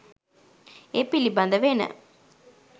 ඒ පිළිබඳ වෙන